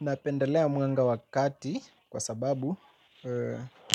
Napendelea mwanga wa kati kwa sababu